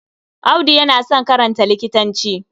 Audu yana son karanta likitanci.